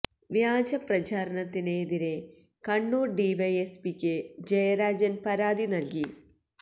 വ്യാജ പ്രചാരണത്തിന് എതിരെ കണ്ണൂർ ഡിവൈഎസ്പിക്ക് ജയരാജൻ പരാതി നൽകി